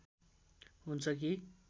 हुन्छ कि